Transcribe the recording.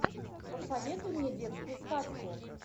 посоветуй мне детскую сказку